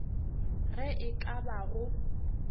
ge e ka ba go